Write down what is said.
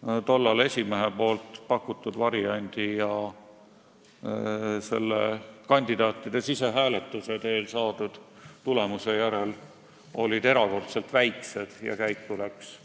Selgus, et erinevused esimehe pakutud variandi ja kandidaatide sisehääletuse teel saadud tulemuse vahel olid erakordselt väiksed ning nimekiri läks käiku vist